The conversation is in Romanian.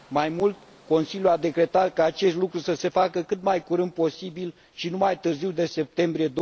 Mai mult, Consiliul a decretat ca acest lucru să se facă cât mai curând posibil și nu mai târziu de septembrie